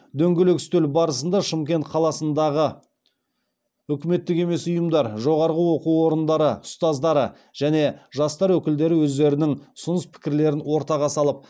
дөңгелек үстел барысында шымкент қаласындағы үкіметтік емес ұйымдар жоғарғы оқу орындарының ұстаздары және жастар өкілдері өздерінің ұсыныс пікірлерін ортаға салып